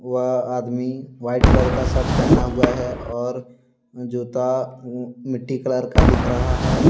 वह आदमी white colour का सर्ट पहना हुआ है और जूता उह मिट्टी कलर का दिख रहा है।